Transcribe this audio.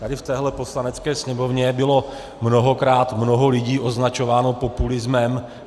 Tady v této Poslanecké sněmovně bylo mnohokrát mnoho lidí označováno populismem.